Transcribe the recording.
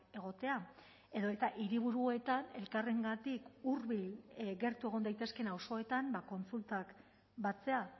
egotea edota hiriburuetan elkarrengatik hurbil gertu egon daitezkeen auzoetan kontsultak batzea